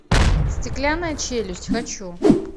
стеклянная челюсть хочу